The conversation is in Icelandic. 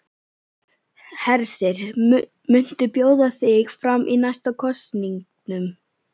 Hersir: Muntu bjóða þig fram í næstu kosningum?